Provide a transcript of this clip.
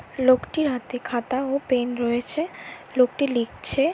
লোকটির হাতে খাতা ও পেন রয়েছে লোকটি লিখছে।